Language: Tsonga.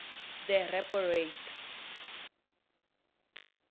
the repo rate